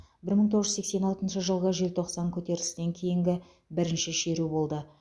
бір мың тоғыз жүз сексен алтыншы жылғы желтоқсан көтерілісінен кейінгі бірінші шеру болды